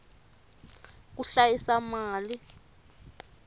ku hlayisa mali